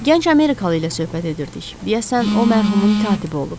Gənc amerikalı ilə söhbət edirdik, deyəsən o mərhumun katibi olub.